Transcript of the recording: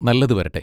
നല്ലത് വരട്ടെ!